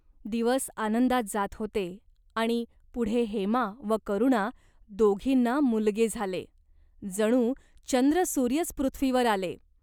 दिवस आनंदात जात होते.आणि पुढे हेमा व करुणा दोघींना मुलगे झाले. जणू चंद्रसूर्यच पृथ्वीवर आले!